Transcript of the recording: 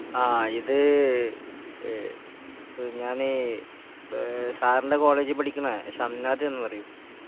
ആ ഇത് ഏഹ് പ് ഞാന് ഏഹ് സാറിൻറെ കോളേജിൽ പഠിക്കണ ഷംനാദ് എന്ന് പറയും